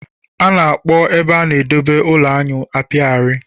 A na-akpọ ebe a na-edebe ụlọ aṅụ Apiary